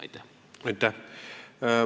Aitäh!